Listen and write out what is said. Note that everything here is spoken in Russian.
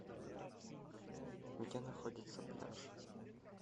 где находится пляж